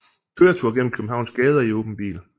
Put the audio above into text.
Køretur gennem Københavns gader i åben bil